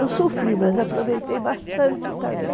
Eu sofri, mas aproveitei bastante também.